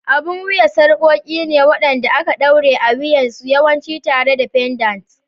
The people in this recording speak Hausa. Abun wuya sarƙoƙi ne waɗanda aka ɗaure a wuyansu, yawanci tare da pendants.